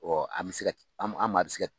an bɛ se kɛ, an maa bɛ se kɛ